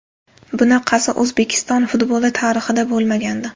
Bunaqasi O‘zbekiston futboli tarixida bo‘lmagandi.